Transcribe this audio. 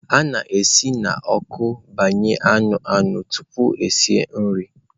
A na-esi n'ọkụ gbanye anụ anụ tupu esi nri.